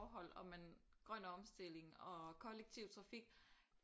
Grøn omstilling og kollektiv trafik